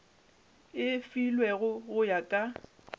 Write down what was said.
e filwego go ya ka